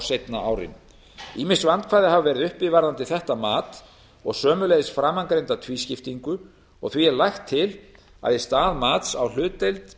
seinna árinu ýmis vandkvæði hafa verið uppi um þetta mat og sömuleiðis framangreinda tvískiptingu og því er lagt til að í stað mats á hlutdeild